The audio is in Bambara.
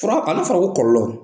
Fura an'a fɔra ko kɔlɔlɔ.